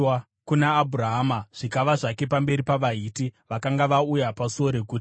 kuna Abhurahama zvikava zvake pamberi pavaHiti vakanga vauya pasuo reguta.